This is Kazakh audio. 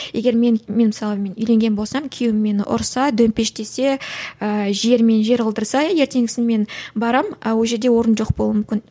егер мен мен мысалы мен үйленген болсам күйеуім мені ұрса төмпештесе ііі жер мен жер қылдырса ертеңгісін мен барамын а ол жерде орын жоқ болуы мүмкін